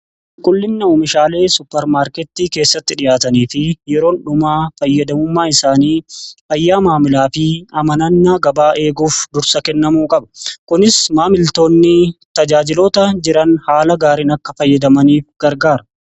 Qulqullinni meeshaalee suppermaarketii keessatti dhi'aatanii fi yeroon dhumaa fayyadamummaa isaanii fayyaa maamilaa fi amanannaa gabaa eeguuf dursa kennamuu qaba kunis maamiltoonni tajaajiloota jiran haala gaariin akka fayyadamaniif gargaara.